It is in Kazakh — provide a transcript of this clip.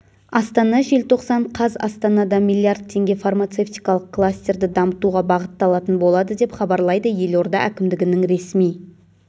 астана желтоқсан қаз астанада млрд теңге фармацевтикалық кластерді дамытуға бағытталатын болады деп хабарлайды елорда әкімдігінің ресми